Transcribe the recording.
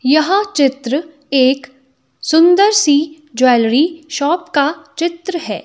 यह चित्र एक सुंदर सी ज्वेलरी शॉप का चित्र है।